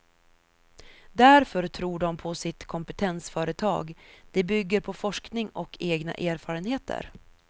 Därför tror de på sitt kompetensföretag, det bygger på forskning och egna erfarenheter.